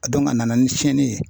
A a nana ni tiɲɛni ye